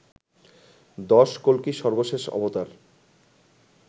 ১০. কল্কি সর্বশেষ অবতার